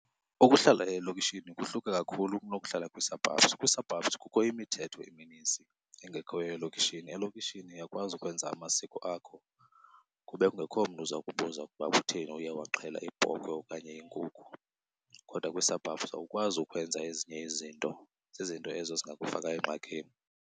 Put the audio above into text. Ukuhlala elokishini kuhluke kakhulu kunokuhlala kwii-surbubs. Kwii-suburbs kukho imithetho emininzi engekhoyo elokishini. Elokishini uyakwazi ukwenza amasiko akho kube kungekho mntu uza kubuza ukuba kutheni uye waxhela ibhokhwe okanye inkukhu, kodwa kwii-suburbs awukwazi ukwenza ezinye izinto. Zizinto ezo ezingakufaka engxakini.